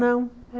Não.